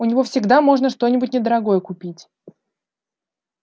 у него всегда можно что-нибудь недорогое купить